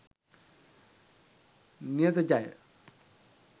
niyatha jaya